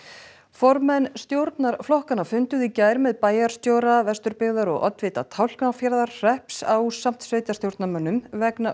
formenn stjórnarflokkanna funduðu í gær með bæjarstjóra Vesturbyggðar og oddvita Tálknafjarðarhrepps ásamt sveitarstjórnarmönnunum vegna